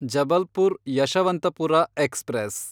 Jabalpur Yesvantpur express